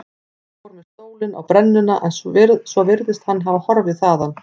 Ég fór með stólinn á brennuna en svo virðist hann hafa horfið þaðan.